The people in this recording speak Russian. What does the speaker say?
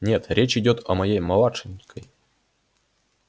нет речь идёт о моей младшенькой